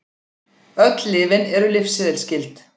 Öll lyfin eru lyfseðilsskyld